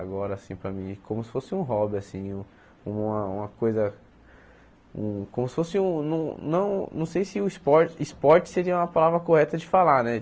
Agora, assim, para mim, é como se fosse um hobby, assim, uma uma coisa um... como se fosse um... não não não sei se o esporte esporte seria uma palavra correta de falar, né?